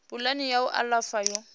pulani ya u alafha yo